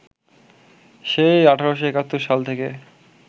সেই ১৮৭১ সাল থেকে